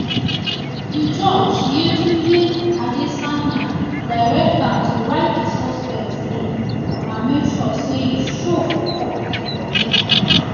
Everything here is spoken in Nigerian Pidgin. di judge yetunde adesanya direct am to write di suspect name and make sure say e show for court for next sitting